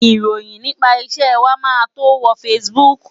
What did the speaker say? Ìròyìn nípa iṣẹ́ wa máa tó wo Facebook.